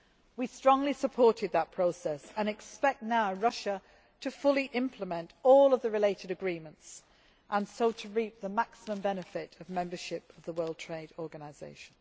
We strongly supported that process and now expect Russia to fully implement all the related agreements, so as to reap the maximum benefit of membership of the World Trade Organisation.